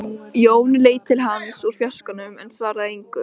Jón leit til hans úr fjarskanum en svaraði engu.